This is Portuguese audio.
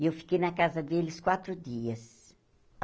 E eu fiquei na casa deles quatro dias.